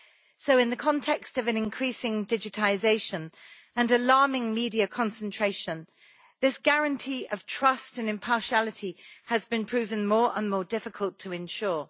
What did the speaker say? So, in the context of an increasing digitisation and alarming media concentration, this guarantee of trust and impartiality has been proven more and more difficult to ensure.